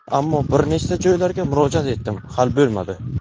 Ammo bir nechta joylarga murojaat etdim, hal bo‘lmadi.